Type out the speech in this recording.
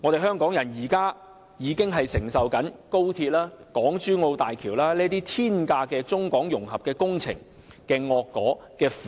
香港人現已承受高鐵、港珠澳大橋這些天價中港融合工程的惡果和苦果。